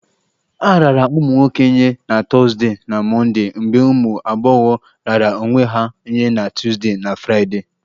A raara ụmụ nwoke nye na Thursday na Mọnde mgbe ụmụ agbọghọ raara onwe ha nye na Tuesday na Friday